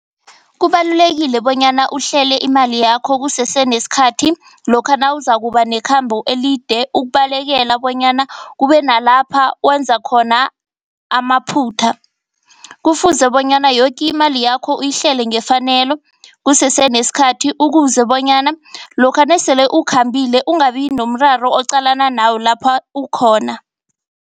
Kubalulekile bonyana uhlele imali yakho kusese nesikhathi lokha nawuzakuba nekhamba elide, ukubalekela bonyana kube nalapha wenza khona amaphutha. Kufuze bonyana yoke imali yakho uyihlele ngefanelo kusese nesikhathi. Ukuze bonyana lokha nasele ukhambile ungabi nomraro oqalana nawo lapha ukhona.